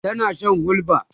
tana Shan hulba